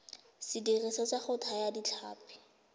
sediriswa sa go thaya ditlhapi